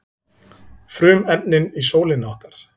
frumefnin í sólinni okkar